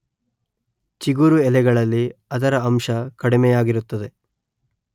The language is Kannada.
ಚಿಗುರು ಎಲೆಗಳಲ್ಲಿ ಅದರ ಅಂಶ ಕಡಿಮೆಯಾಗಿರುತ್ತದೆ